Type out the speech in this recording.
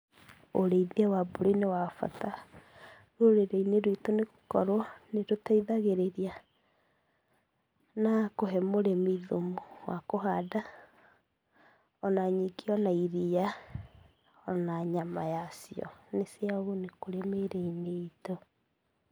Ũrĩithia wa mbũri nĩ wa bata rũrĩrĩ-inĩ rwitũ nĩ gũkorwo nĩ ũteithagĩrĩria na kũhe mũrĩmi thumu wa kũhanda. Ona nyingĩ ona iria, ona nyama ya cio nĩ cia ũguni kũrĩ mĩĩrĩ-inĩ itũ.